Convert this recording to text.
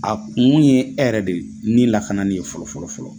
A kun ye e yɛrɛ de ni lakanani ye fɔlɔfɔlɔfɔlɔ.